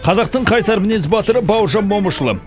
қазақтың қайсар мінез батыры бауыржан момышұлы